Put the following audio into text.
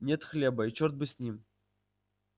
нет хлеба и чёрт бы с ним